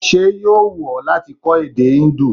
Ṣé yóò wù ọ́ láti kọ́ èdè Indu?